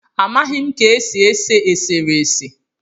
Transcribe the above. Amaghị ka e si ese eserese